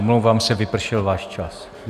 Omlouvám se, vypršel váš čas.